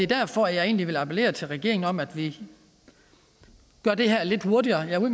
derfor jeg vil appellere til regeringen om at vi gør det her lidt hurtigere jeg